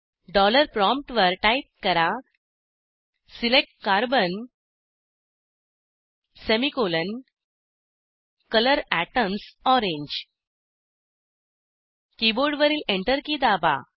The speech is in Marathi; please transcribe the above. डॉलर प्रॉमप्टवर टाईप करा select carbon semicolon colour atoms orange कीबोर्डवरील Enter की दाबा